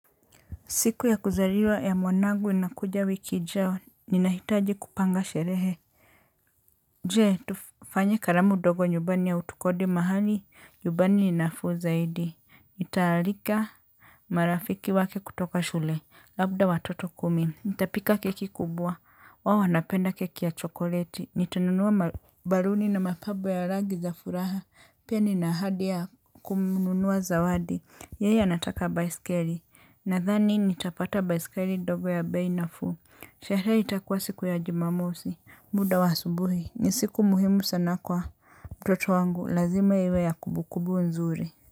Siku ya kuzaliwa ya mwanangu inakuja wiki ijayo, ninahitaji kupanga sherehe. Jee, tufanye karamu dogo nyubani au tukodi mahali, nyubani ninafuu zaidi, nitaarika. Marafiki wake kutoka shule, labda watoto kumi. Nitapika keki kubwa, wao wanapenda keki ya chokoleti, nitanunua baruni na mapabo ya rangi za furaha. Pia nina ahadi ya kumnunua zawadi. Yeye anataka baisikeli. Nathani nitapata baisikeli ndogo ya bei nafuu. Sherehe itakuwa siku ya jumamosi. Muda wa asubuhi ni siku muhimu sana kwa mtoto wangu lazima iwe ya kubukubu nzuri.